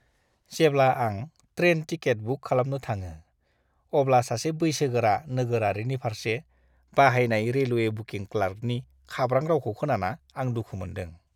जेब्ला आं train ticket book खालामनो थाङो अब्ला सासे बैसोगोरा नोगोरारिनि फारसे बाहायनाय रेलवे बुकिं क्लार्कनि खाब्रां रावखौ खोनाना आं दुखु मोन्दों।